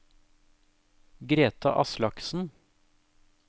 Greta Aslaksen